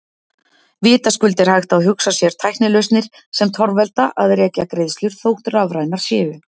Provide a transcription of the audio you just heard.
Vitaskuld er hægt að hugsa sér tæknilausnir sem torvelda að rekja greiðslur, þótt rafrænar séu.